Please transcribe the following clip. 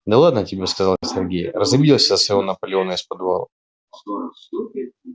да ладно тебе сказал сергей разобиделась из-за своего наполеона из подвала